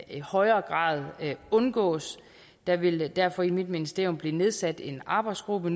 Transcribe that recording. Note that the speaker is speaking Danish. i højere grad undgås der vil derfor i mit ministerium nu blive nedsat en arbejdsgruppe